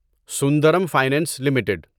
Sundaram finance limited